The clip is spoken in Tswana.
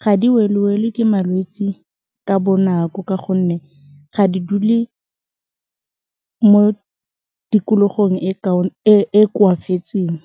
ga di welwewelwe ke malwetsi ka bonako ka gonne ga di dule mo tikologong e e koafatseng.